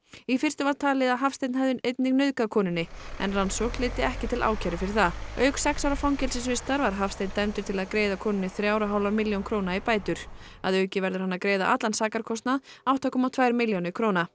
í fyrstu var talið Hafsteinn hefði einnig nauðgað konunni en rannsókn leiddi ekki til ákæru fyrir það auk sex ára fangelsisvistar var Hafsteinn dæmdur til að greiða konunni þrjár og hálfa milljón króna í bætur að auki verður hann að greiða allan sakarkostnað átta komma tvær milljónir króna